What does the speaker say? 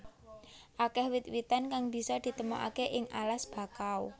Akeh wit witan kang bisa ditemokaké ing alas bakau